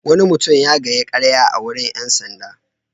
Wani mutum ya faɗi ƙarya a wurin ƴan sanda.